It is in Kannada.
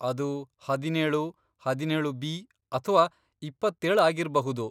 ಅದು ಹದಿನೇಳು, ಹದಿನೇಳು ಬಿ ಅಥ್ವಾ ಇಪ್ಪತ್ತೇಳ್ ಆಗಿರ್ಬಹುದು.